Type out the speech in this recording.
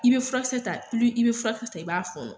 I be furakisɛ ta i be furakisɛ ta i b'a fɔɔnɔ.